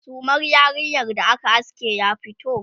sumar yarinyar da aka aske ya fito?